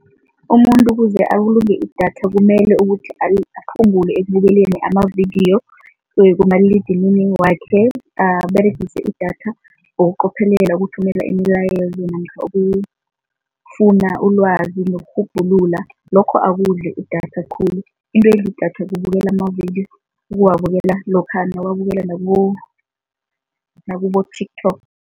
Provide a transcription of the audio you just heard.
Umuntu ukuze abulunge idatha kumele ukuthi aphungule ekubukeleni amavidiyo kumaliledinini wakhe, aberegise idatha ngokuqophelela. Ukuthumela imilayezo namkha ukufuna ulwazi nokurhubhulula, lokho akudli idatha khulu, into edla idatha kubukela amavidiyo, ukuwabukela lokha nawuwabukela nakubo-TikTok.